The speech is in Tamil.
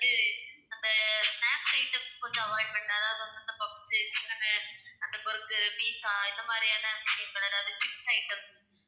ஆஹ் இது அந்த snacks items கொஞ்சம் avoid பண்ணா தான் ma'am அந்த puffs அந்த burgar, pizza இந்த மாதிரியான விஷயங்கள் அதாவது சின்ன items